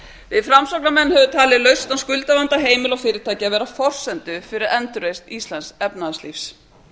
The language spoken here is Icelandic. við framsóknarmenn höfum talið lausn á skuldavanda heimila og fyrirtækja vera forsendu fyrir endurreisn íslensks efnahagslífs